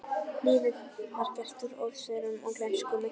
Lífið var gert úr ósigrum og gleymsku milli þeirra.